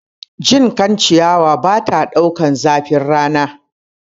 Jinkan ciyawa bata ɗaukar zafin rana